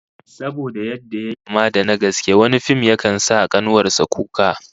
Saboda yadda yayi kama da na gaske, wani fim yakan sa kanuwar sa kuka